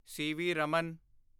CV. Raman